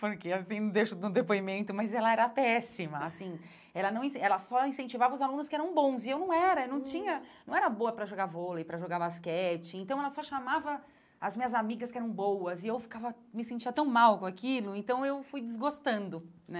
Porque, assim, não um depoimento, mas ela era péssima, assim, ela não ela só incentivava os alunos que eram bons e eu não era, eu não tinha, não era boa para jogar vôlei, para jogar basquete, então ela só chamava as minhas amigas que eram boas e eu ficava, me sentia tão mal com aquilo, então eu fui desgostando, né?